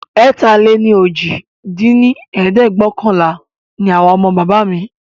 ẹ̀ta-lé-ní-ojì dín ní ẹ̀ẹ́dẹ́gbẹ́ọ̀kànlá ní àwa ọmọ bàbá mí